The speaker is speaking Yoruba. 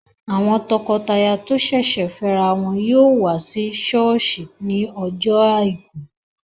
Àwọn tọkọtaya tó sẹ̀sẹ̀ fẹ́ ra wọn yóò wá sí sọ́ọ̀sì ní ọjọ́ àìkú